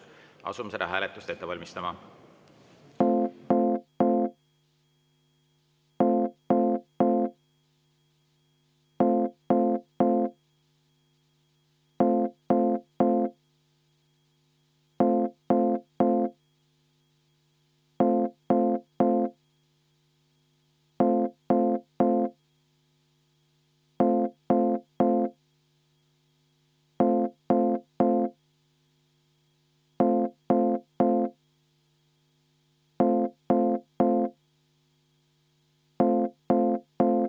Asume seda hääletust ette valmistama.